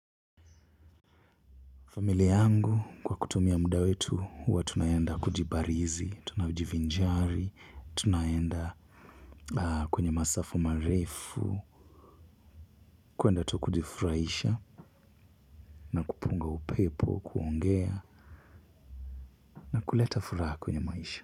Familia yangu kwa kutumia muda wetu huwa tunaenda kujibarizi, tunajivinjari, tunaenda kwenye masafa marefu, kuenda tu kujifurahisha na kupunga upepo, kuongea nakuleta furaha kwenye maisha.